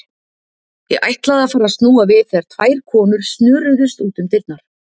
Ég ætlaði að fara að snúa við þegar tvær konur snöruðust út um dyrnar.